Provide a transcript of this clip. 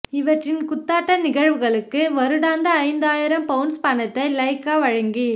இவற்றின் குத்தாட்ட நிகழ்வுகளுக்குப் வருடாந்தம் ஐந்தாயிரம் பவுண்ஸ் பணத்தை லைக்கா வழங்கி